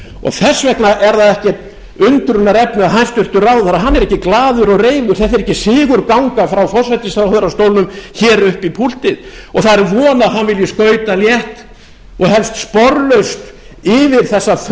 þess vegna er það ekkert undrunarefni að hæstvirtur ráðherra er ekkert glaður og reifur þetta ekki sigurganga frá forsætisráðherrastólnum hér upp í púltið og það er von að hann vilji skauta létt og helst sporlaust yfir þessa